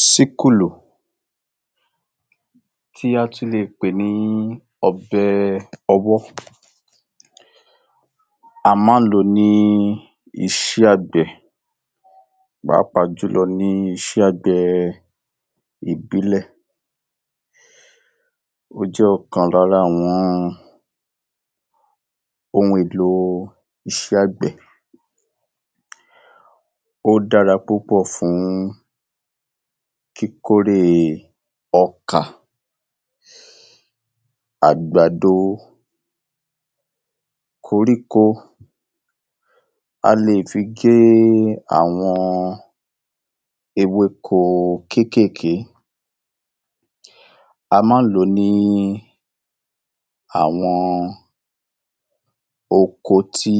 Síkùlù tí a tún lè pè ní ọbẹ̀-ọwọ́. A máa ń lò ó ní iṣẹ́ àgbẹ̀ pàápàá jù lọ ní ìṣẹ́ àgbẹ̀ ìbílẹ̀. Ó jẹ́ ọ̀kan lára àwọn ohun èlò iṣẹ́ àgbẹ̀. Ó dára púpọ̀ fún kíkórè ọkà, àgbàdo, koríko, a lè fi gé àwọn ewéko kéékèèké. A máa ń lò ó ní àwọn oko tí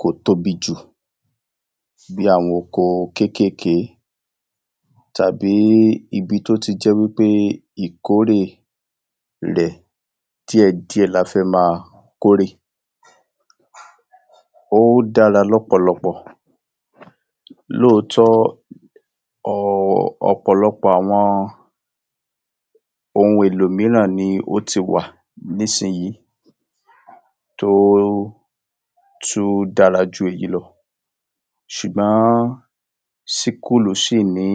kò tóbi jù bí àwọn oko kéékèèké tàbí ibi tó ti jẹ́ wí pé ìkórè rẹ̀ díẹ̀díẹ̀ la fẹ́ máa kórè. Ó dára lọ́pọ̀lọpọ̀ lóòótọ́ um ọ̀pọ̀lọpọ̀ àwọn ohun èlò mìíràn ni ó ti wà nísìnyìí tó tú dára jù yí lọ. Ṣùgbọ́n síkùlù ṣì ní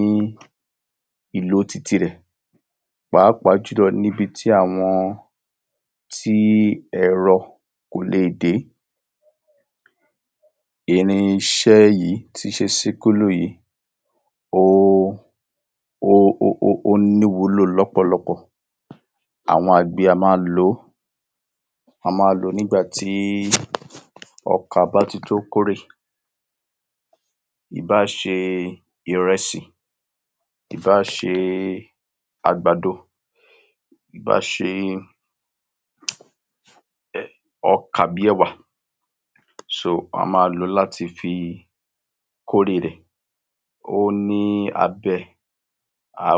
ìlò titirẹ̀ pàápàá jù lọ nibití àwọn tí ẹ̀rọ kò leè dé. Irinṣẹ́ yìí tíṣe síkùlù yìí, ó ní ìwúlò lọ́pọ̀lọpọ̀. Àwọn àgbẹ̀ a máa lò ó a máa lò ó nígbà tí ọkà bá ti to kórè. Ìbá ṣe ìrẹsì, ìbá ṣe àgbàdo, ìbá ṣe ọkà bí ẹwà, so, wọ́n a máa lò ó láti fi kórè rẹ̀. Ó ní abẹ,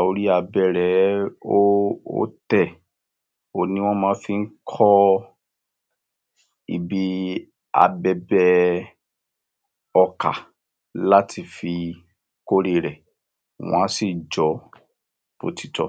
orí abẹ rẹ̀ ẹ́, ó ó tẹ̀. Òhun ni wọ́n máa ń fi kọ ibi abẹbẹ ọkà láti fi kórè rẹ̀. Wọ́n à sì jọ̀ ọ́ bótitọ́.